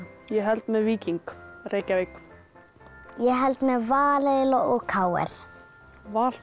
ég held með Víking Reykjavík ég held með Val og k r val og